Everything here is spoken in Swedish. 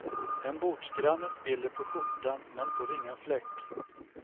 En bordsgranne spiller på skjortan men får ingen fläck.